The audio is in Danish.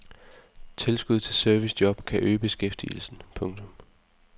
Tilskud til servicejob kan øge beskæftigelsen. punktum